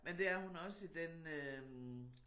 Men det er hun også i den øh